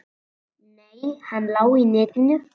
Nei, hann lá í netinu.